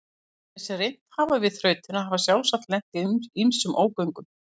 Þeir sem reynt hafa við þrautina hafa sjálfsagt lent í ýmsum ógöngum.